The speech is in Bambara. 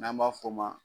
N'an b'a f'o ma